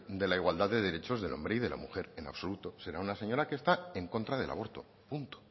de la igualdad de derechos del hombre y la mujer en absoluto será una señora que está en contra del aborto punto